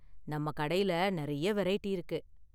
நம்ம கடைல நிறைய வெரைட்டி இருக்கு.